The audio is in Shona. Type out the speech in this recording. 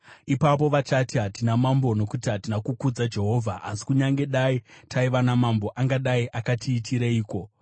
Ipapo vachati, “Hatina mambo nokuti hatina kukudza Jehovha. Asi kunyange taiva namambo, angadai akatiitireiko?”